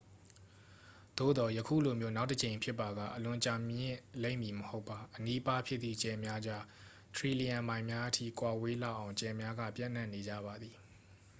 "သို့သော် ယခုလိုမျိုး နောက်တစ်ကြိမ်ဖြစ်ပါက အလွန်ကြာမြင့်လိမ့်မည်မဟုတ်ပါ။ "အနီးအပါး" ဖြစ်သည့် ကြယ်များကြား ထရီလီယံမိုင်များအထိ ကွာဝေးလောက်အောင် ကြယ်များက ပျံ့နှံ့နေကြပါသည်။